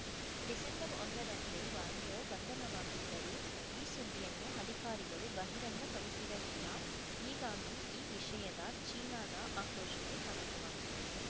ಡಿಸೆಂಬರ್ಒಂದರಂದೇ Wanzhou ಬಂಧನವಾಗಿದ್ದರೂ ಈ ಸುದ್ದಿಯನ್ನು ಅಧಿಕಾರಿಗಳು ಬಹಿರಂಗಪಡಿಸಿರಲಿಲ್ಲ ಹೀಗಾಗಿ ಈ ವಿಷಯದ ಚೀನಾದ ಆಕ್ರೋಶಕ್ಕೆ ಕಾರಣವಾಗಿದೆ